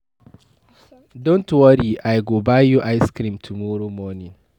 Don't worry, I go buy you ice cream tomorrow morning.